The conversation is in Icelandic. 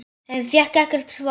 En fékk ekkert svar.